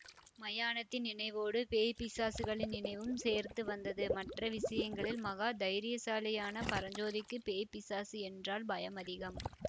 மயானத்தின் நினைவோடு பேய் பிசாசுகளின் நினைவும் சேர்ந்துவந்தது மற்ற விஷயங்களில் மகா தைரியசாலியான பரஞ்சோதிக்குப் பேய் பிசாசு என்றால் பயம் அதிகம்